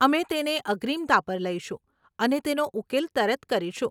અમે તેને અગ્રીમતા પર લઈશું અને તેનો ઉકેલ તરત કરીશું.